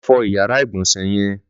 Lọ fọ iyàrá igbọnsẹ̀ yèn